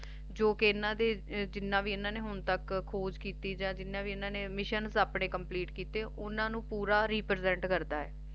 ਜੌ ਕਿ ਇੰਨਾ ਦੀ ਇੰਨਾ ਨੇ ਜਿੰਨਾ ਵੀ ਹੁਣ ਤੱਕ ਖੋਜ ਕਰੀ ਏ ਤੇ ਜਿੰਨੇ ਵੀ ਇੰਨਾ ਨੇ Mission Complete ਕੀਤੇ ਓਹਨਾ ਨੂ ਪੂਰਾ Represent ਕਰਦਾ ਹੈ